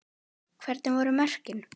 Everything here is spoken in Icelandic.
Hvernig voru mörkin?